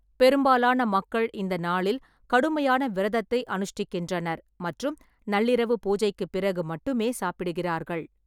பெரும்பாலான மக்கள் இந்த நாளில் கடுமையான விரதத்தை அனுஷ்டிக்கின்றனர் மற்றும் நள்ளிரவு பூஜைக்குப் பிறகு மட்டுமே சாப்பிடுகிறார்கள்.